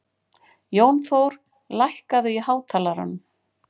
Jónþór, lækkaðu í hátalaranum.